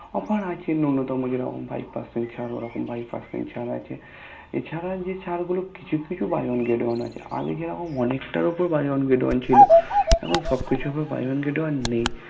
Offer আছে নুন্নতম যেরকম Five Percent ছাড় Five Percent ছাড় আছে এছাড়া যে ছাড় গুলো কিছু কিছু Buy One Get One আছে আগে যেরকম অনেকটার উপরে Buy One Get One ছিল এখন সব কিছুর উপরে Buy One Get One নেই